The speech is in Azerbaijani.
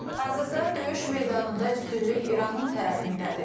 Hazırda döyüş meydanında üstünlük İranın tərəfindədir.